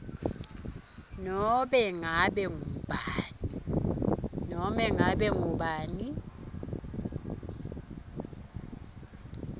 nobe ngabe ngubani